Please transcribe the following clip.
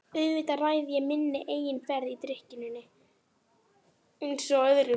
Auðvitað ræð ég minni eigin ferð í drykkjunni einsog öðru.